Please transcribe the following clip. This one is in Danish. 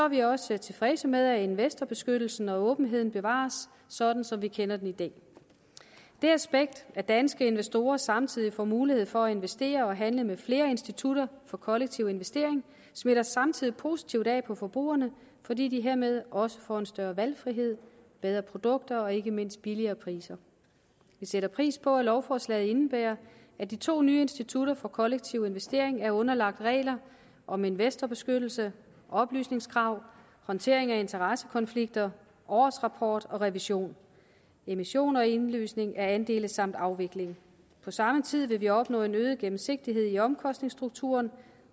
vi også tilfredse med at investorbeskyttelsen og åbenheden bevares sådan som vi kender den i dag det aspekt at danske investorer samtidig får mulighed for at investere og handle med flere institutter for kollektiv investering smitter samtidig positivt af på forbrugerne fordi de hermed også får en større valgfrihed bedre produkter og ikke mindst billigere priser vi sætter pris på at lovforslaget indebærer at de to nye institutter for kollektiv investering er underlagt regler om investorbeskyttelse oplysningskrav håndtering af interessekonflikter årsrapport og revision emission og indløsning af andele samt afvikling på samme tid vil vi opnå en øget gennemsigtighed i omkostningsstrukturen